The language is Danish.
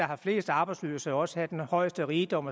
har flest arbejdsløse også have den højeste rigdom